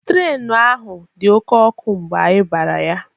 Trenu ahu dị oké ọkụ mgbe anyị bara ya